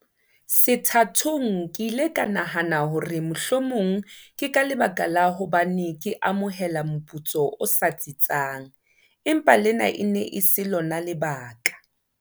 Sethathong ke ile ka nahana hore mohlomong ke ka lebaka la hobane ke amohela moputso o sa tsitsang, empa lena e ne e se lona lebaka.